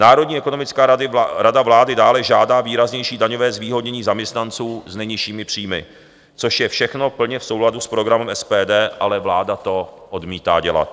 Národní ekonomická rada vlády dále žádá výraznější daňové zvýhodnění zaměstnanců s nejnižšími příjmy, což je všechno plně v souladu s programem SPD, ale vláda to odmítá dělat.